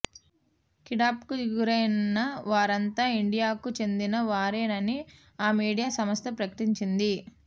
కిడ్పాప్ కు గురైన వారంతా ఇండియాకు చెందిన వారేనని ఆ మీడియా సంస్థ ప్రకటించింది